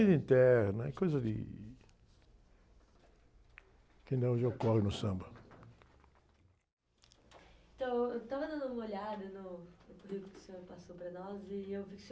coisa interna, coisa de... Que ainda hoje ocorre no samba.ntão, eu estava dando uma olhada no, no currículo que o senhor passou para nós e eu vi que o senhor...